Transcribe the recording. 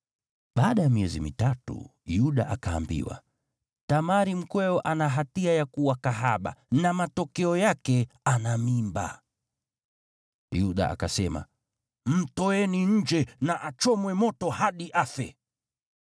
Baada ya miezi mitatu Yuda akaambiwa, “Tamari mkweo ana hatia ya kuwa kahaba, na matokeo yake ana mimba.” Yuda akasema, “Mtoeni nje na achomwe moto hadi afe!”